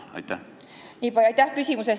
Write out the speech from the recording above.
Aitäh küsimuse eest!